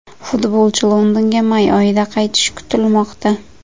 Futbolchi Londonga may oyida qaytishi kutilmoqda.